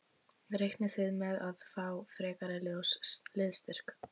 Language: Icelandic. Reiknið þið með að fá frekari liðsstyrk?